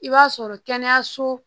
I b'a sɔrɔ kɛnɛyaso